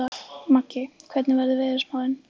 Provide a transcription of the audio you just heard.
Maggi, hvernig er veðurspáin?